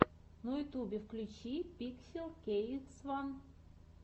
на ютюбе включи пикселкейксфан